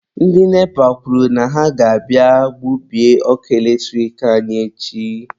Ndị NEPA kwuru na ha ga-abịa gbubie ọkụ eletrik anyị echi.